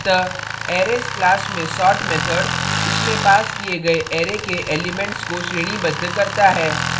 अतः arrays class में sort method इसमें passed किए गए arrays के elements को श्रेणीबद्ध करता है